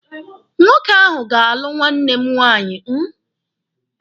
Nwoke ahụ ga-alụ nwanne m nwaanyị.